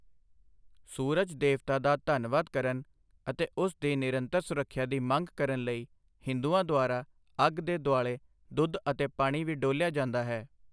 ਸੂਰਜ ਦੇਵਤਾ ਦਾ ਧੰਨਵਾਦ ਕਰਨ ਅਤੇ ਉਸ ਦੀ ਨਿਰੰਤਰ ਸੁਰੱਖਿਆ ਦੀ ਮੰਗ ਕਰਨ ਲਈ ਹਿੰਦੂਆਂ ਦੁਆਰਾ ਅੱਗ ਦੇ ਦੁਆਲੇ ਦੁੱਧ ਅਤੇ ਪਾਣੀ ਵੀ ਡੋਲ੍ਹਿਆ ਜਾਂਦਾ ਹੈ।